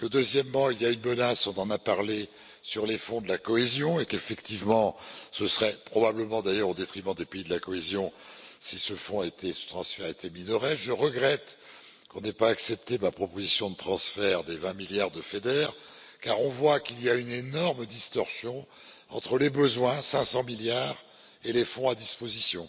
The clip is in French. Ensuite, il y a une menace on en a parlé sur les fonds de la cohésion et, effectivement, ce serait probablement au détriment des pays de la cohésion si ce fonds, ce transfert était minoré. Je regrette que l'on n'ait pas accepté ma proposition de transfert des 20 milliards du FEDER car on voit qu'il y a une énorme distorsion entre les besoins, 500 milliards, et les fonds à disposition.